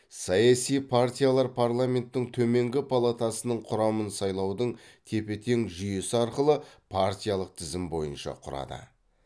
саяси партиялар парламенттің төменгі палатасының құрамын сайлаудың тепе тең жүйесі арқылы партиялық тізім бойынша құрады